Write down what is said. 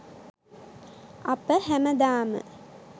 අප හැමදාම